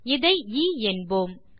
இதை எ என்போம்